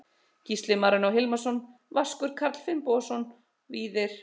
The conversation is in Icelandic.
Gísli Marinó Hilmarsson Vaskur Karl Finnbogason Víðir